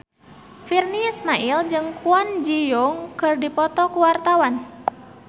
Virnie Ismail jeung Kwon Ji Yong keur dipoto ku wartawan